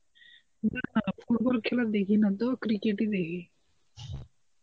না football খেলা দেখি না তো cricket ই দেখি.